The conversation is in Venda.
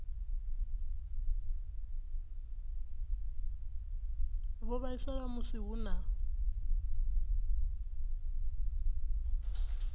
vho vhaisala musi hu na